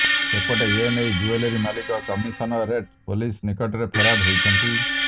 ସେପଟେ ଏନେଇ ଜୁଏଲାରୀ ମାଲିକ କମିଶନରେଟ ପୋଲିସ୍ ନିକଟରେ ଫେରାଦ ହୋଇଛନ୍ତି